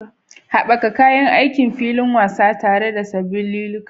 Haɓaka kayan aikin filin wasa tare da sabbin liliukan.